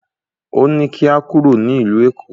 Ó ní kí a kúrò ní ìlú Èkó